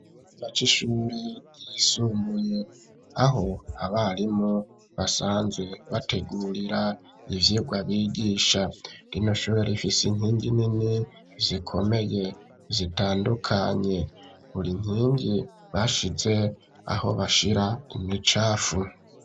Ikigo c’ishuri ryisumbuye aho abarimo basanzwe bategurira ivyigwa bigisha, rino shure rifise inkingi nini zikomeye, zitandukanye, buri nkingi bashize aho bashira imicafu.